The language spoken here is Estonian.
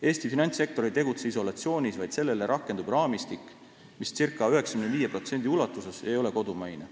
Eesti finantssektor ei tegutse isolatsioonis, vaid sellele rakendub raamistik, mis circa 95% ulatuses ei ole kodumaine.